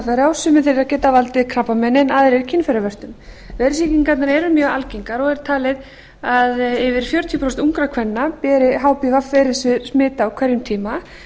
stofnar hpv veira sumir þeirra geta valdið krabbameini en aðrir kynfæravörtum veirusýkingarnar eru mjög algengar og er talið að yfir fjörutíu prósent ungra kvenna beri hpv veirusmit á hverjum tíma